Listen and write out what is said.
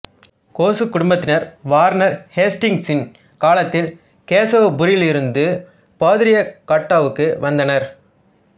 கோசு குடும்பத்தினர் வாரன் ஹேஸ்டிங்ஸின் காலத்தில் கேசவப்பூரிலிருந்து பாதுரியகட்டாவுக்கு வந்தனர்